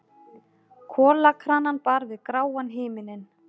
Kolakranann bar við gráan himininn.